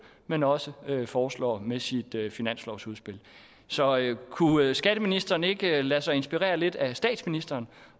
men også foreslår med sit finanslovsudspil så kunne skatteministeren ikke lade sig inspirere lidt af statsministeren